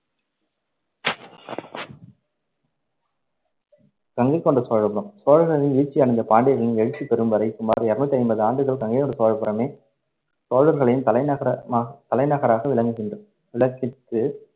கங்கைகொண்ட சோழபுரம் சோழர்கள் வீழ்ச்சியடைந்து, பாண்டியர்களின் எழுச்சி பெறும்வரை சுமார் இருநூத்தி ஐம்பது ஆண்டுகள் கங்கைகொண்ட சோழபுரமே சோழர்களின் தலைநகரமாக தலைநகராக விளங்குகின்ற~ விளக்கிற்று.